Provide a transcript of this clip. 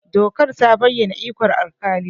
Dokar ta bayyana ikon alƙali.